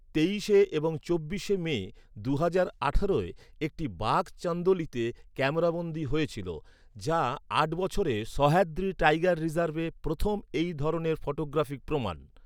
তেইশে এবং চব্বিশে মে দুহাজার আঠারোয়, একটি বাঘ চান্দোলিতে ক্যামেরাবন্দী হয়েছিল, যা আট বছরে সহ্যাদ্রি টাইগার রিজার্ভে প্রথম এই ধরনের ফটোগ্রাফিক প্রমাণ।